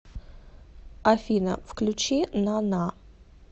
афина включи на на